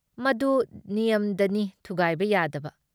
ꯃꯗꯨ ꯅꯤꯌꯝꯗꯅꯤ ꯊꯨꯒꯥꯏꯕ ꯌꯥꯗꯕ ꯫